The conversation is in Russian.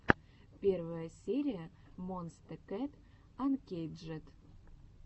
первая серия монсте кэт анкейджед